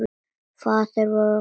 Faðir vor kallar kútinn.